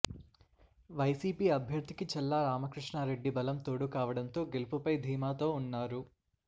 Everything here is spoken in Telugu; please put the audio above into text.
వైసీపీ అభ్యర్థికి చల్లా రామకృష్ణా రెడ్డి బలం తోడుకావడంతో గెలుపుపై ధీమాతో ఉన్నారు